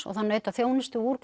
og þá naut það þjónustu úr